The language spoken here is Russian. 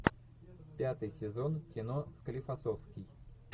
пятый сезон кино склифосовский